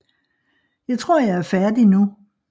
Jeg tror jeg er færdig nu